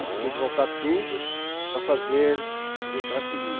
Aí tinha que voltar tudo para fazer do jeito que ela queria.